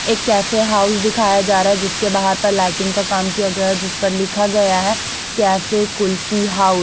एक cafe house दिखाया जा रहा है जिसके बाहर पे लाइटिंग का काम किया गया है जिस पर लिखा गया है कैफे कुल्फी हाउस ।